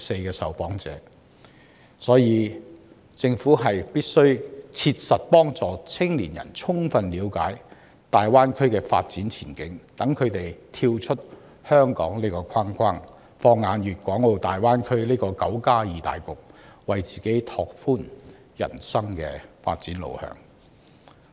因此，政府必須切實協助青年人充分了解大灣區的發展前景，讓他們跳出香港這個框框，放眼大灣區這個"九加二"大局，為自己拓闊人生的發展路向。